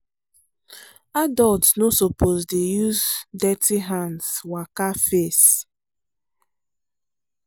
adults no suppose dey use dirty hand waka face.